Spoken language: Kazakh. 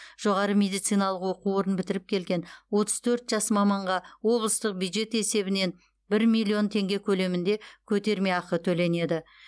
жоғары медициналық оқу орнын бітіріп келген отыз төрт жас маманға облыстық бюджет есебінен бір миллион теңге көлемінде көтермеақы төленеді